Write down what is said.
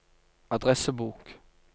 adressebok